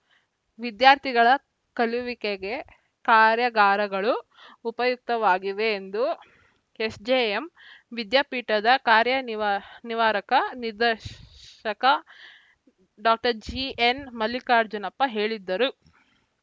ವಿದ್ಯಾರ್ಥಿಗಳ ಕಲಿಯುವಿಕೆಗೆ ಕಾರ್ಯಾಗಾರಗಳು ಉಪಯುಕ್ತವಾಗಿವೆ ಎಂದು ಎಸ್‌ಜೆಎಂ ವಿದ್ಯಾಪೀಠದ ಕಾರ್ಯನಿವ ನಿವಾರಕ ನಿದರ್ಶಕ ಡಾಜಿಎನ್‌ ಮಲ್ಲಿಕಾರ್ಜುನಪ್ಪ ಹೇಳಿದ್ದರು